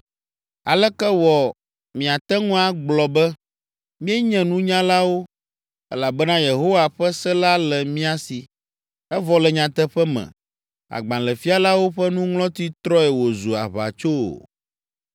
“ ‘Aleke wɔ miate ŋu agblɔ be, “Míenye nunyalawo, elabena Yehowa ƒe se la le mía si,” evɔ le nyateƒe me, agbalẽfialawo ƒe nuŋlɔti trɔe wòzu aʋatso’ o?